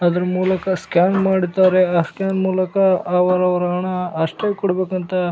ಅದರ ಮೂಲಕ ಸ್ಕ್ಯಾನ್ ಮಾಡಿದ್ದಾರೆ ಆ ಸ್ಕ್ಯಾನ್ ಮೂಲಕ ಅವರವರ ಹಣ ಅಷ್ಟೇ ಕೊಡಬೇಕು ಅಂತ --